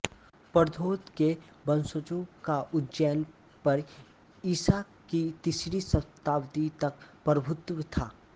प्रद्योत के वंशजों का उज्जैन पर ईसा की तीसरी शताब्दी तक प्रभुत्व था